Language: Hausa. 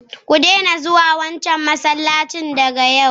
ku daina zuwa wancan masallaci daga yau!